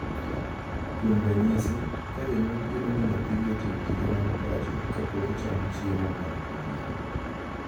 Kuom ranyisi, ka janyuol geno ni nyathigi otim tije mag pacho kapok ocham chiemo mar odhiambo .